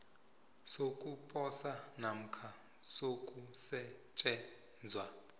sokuposa namkha sokusetjenzwa